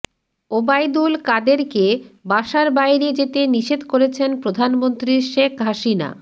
ওবায়দুল কাদেরকে বাসার বাইরে যেতে নিষেধ করেছেন প্রধানমন্ত্রী শেখ হাসিনা